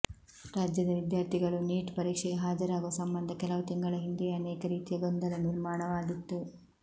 ರಾಜ್ಯದ ವಿದ್ಯಾರ್ಥಿಗಳು ನೀಟ್ ಪರೀಕ್ಷೆಗೆ ಹಾಜರಾಗುವ ಸಂಬಂಧ ಕೆಲವು ತಿಂಗಳ ಹಿಂದೆಯೇ ಅನೇಕ ರೀತಿಯ ಗೊಂದಲ ನಿರ್ಮಾಣವಾಗಿತ್ತು